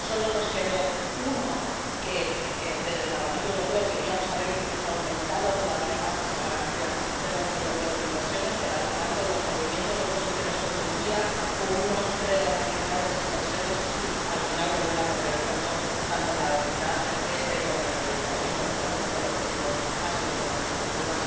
solo nos quedó uno, ya que desde el Parlamento Europeo queríamos incluso haber aumentado todavía más esa garantía del Banco Europeo de Inversiones, pero, al final con los movimientos de posiciones con Turquía, pudimos reorganizar esas inversiones y al final volver a poner el foco tanto en la vecindad Este como en el Mediterráneo, y por lo tanto el objetivo ha sido igualmente cumplido.